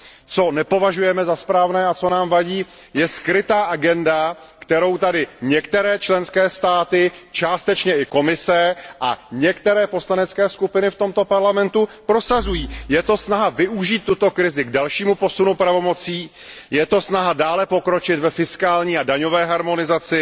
Co nepovažujeme za správné a co nám vadí je skrytá agenda, kterou tady některé členské státy, částečně i Komise a některé poslanecké skupiny v tomto Parlamentu prosazují. Je to snaha využít tuto krizi k dalšímu posunu pravomocí. Je to snaha dále pokročit ve fiskální a daňové harmonizaci.